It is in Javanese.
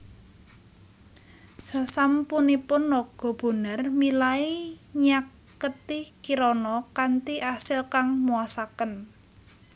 Sasampunipun Naga Bonar milai nyaketi Kirana kanthi asil kang muasaken